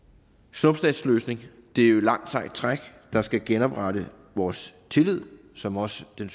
snuptagsløsning det er et langt sejt træk der skal genoprette vores tillid som også den